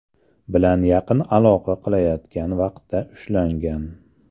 bilan yaqin aloqa qilayotgan vaqtda ushlangan.